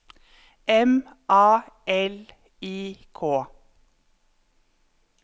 M A L I K